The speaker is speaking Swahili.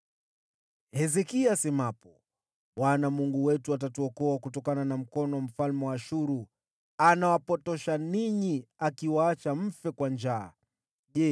Hezekia asemapo, ‘ Bwana Mungu wetu atatuokoa kutokana na mkono wa mfalme wa Ashuru,’ anawapotosha ninyi, naye atawaacha mfe kwa njaa na kiu.